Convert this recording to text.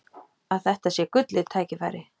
Að þetta sé gullið tækifæri.